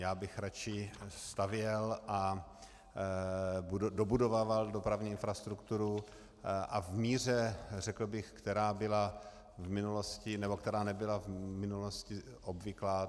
Já bych radši stavěl a dobudovával dopravní infrastrukturu a v míře, řekl bych, která byla v minulosti, nebo která nebyla v minulosti obvyklá.